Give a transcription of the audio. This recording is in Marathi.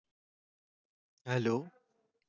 hello